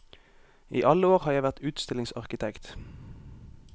I alle år har jeg vært utstillingsarkitekt.